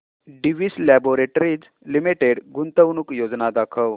Divi's laboratories limited गुंतवणूक योजना दाखव